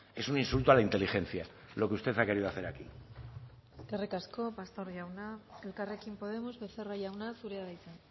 es un insulto a la inteligencia lo que usted ha querido hacer aquí eskerrik asko pastor jauna elkarrekin podemos becerra jauna zurea da hitza